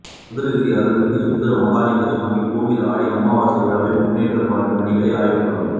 சதுரகிரி அருள்மிகு சுந்தர மகாலிங்க சுவாமி ்கோயில் ஆடி அமாவாசை விழா முன்னேற்பாடு பணிகள் ஆய்வுக்கூட்டம்